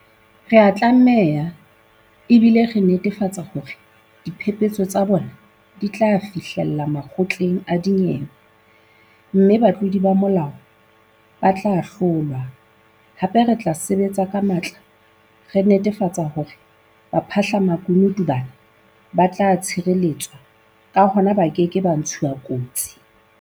Re a tlameha, ebile re netefatsa hore dipepeso tsa bona di tla fihlella makgotleng a dinyewe, mme batlodi ba molao ba tla ahlolwa, hape re tla sebetsa ka matla re netafatsa hore baphahla-makunutu bana ba tla tshireletswa, ka hona ba keke ba ntshuwa kotsi.